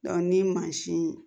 ni mansin